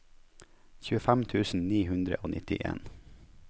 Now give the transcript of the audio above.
tjuefem tusen ni hundre og nittien